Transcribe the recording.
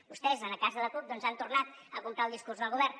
vostès en el cas de la cup doncs han tornat a comprar el discurs del govern